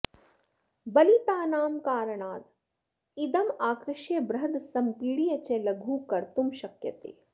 बलितानां कारणाद् इदम् आकृष्य बृहद् सम्पीड्य च लघु कर्तुं शक्यते